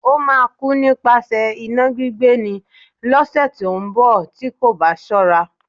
Ó máa kú nípasẹ̀ iná gbígbé ni, lọ́sẹ̀ tí ó ń bọ̀ tí kò bá ṣọ́ra.